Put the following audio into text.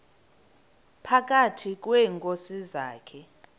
phakathi kweenkosi zakhe